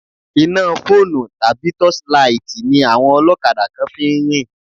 Iná fóònù tàbí tọ́ṣílaìtì ni àwọn ọlọ́kadà kan fi ń rìn.